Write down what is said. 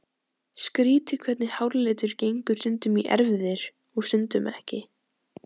Skrýtið hvernig háralitur gengur stundum í erfðir og stundum ekki.